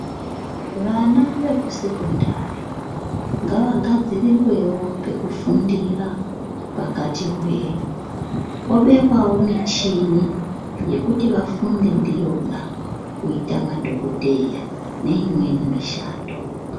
Vana vekusekondari ngavagadzirirwewo pekufundira pakati hwee pobekwawo michini yekuti vafunde ndiyona kuita madhokodheya neimweni mishando.